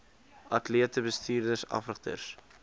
atlete bestuurders afrigters